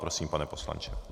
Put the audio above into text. Prosím, pane poslanče.